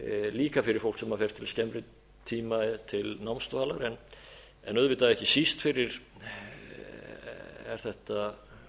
líka fyrir fólk sem fer til skemmri tíma til námsdvalar en auðvitað ekki síst er þetta